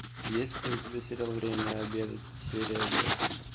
есть ли у тебя сериал время обедать серия восемь